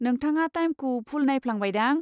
नोंथाङा टाइमखौ भुल नायफ्लांबायदां।